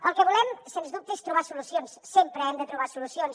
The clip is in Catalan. el que volem sens dubte és trobar solucions sempre hem de trobar solucions